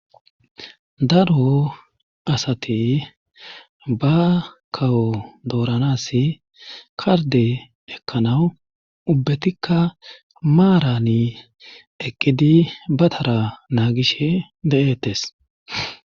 daro asati ba kawo dooranas karde ekkanawu ubbetikka maarani eqqidi batara naagishe de7eettes